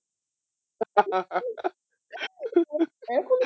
এখনো